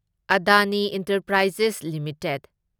Adani enterprises limited